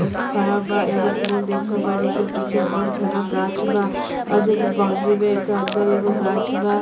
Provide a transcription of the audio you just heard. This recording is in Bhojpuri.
खड़ा बा। एगो पोल देख रहल बानी। एकर पीछे बहोत घना गाक्ष बा और जो बाउंड्री बा। एकर अंदर एगो गाक्ष बा।